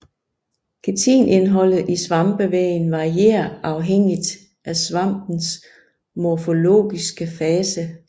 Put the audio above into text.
Kitinindholdet i svampevæggen varierer afhængigt af svampens morfologiske fase